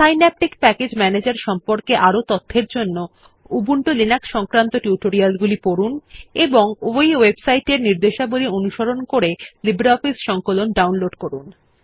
Synaptic package ম্যানেজের সম্পর্কে আরও তথ্যের জন্য উবুন্টু লিনাক্স সংক্রান্ত টিউটোরিয়ালগুলি পড়ুন এবং এই ওয়েবসাইট নির্দেশাবলী অনুসরণ করে লিব্রিঅফিস সংকলন ডাউনলোড করুন